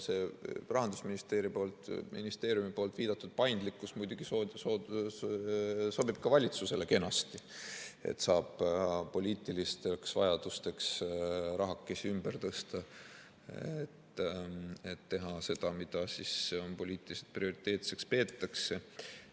See Rahandusministeeriumi poolt viidatud paindlikkus muidugi sobib ka valitsusele kenasti, saab poliitilisteks vajadusteks rahakesi ümber tõsta, et teha seda, mida poliitiliselt prioriteetseks peetakse.